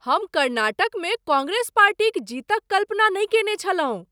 हम कर्नाटकमे कांग्रेस पार्टीक जीतक कल्पना नहि कयने छलहुँ।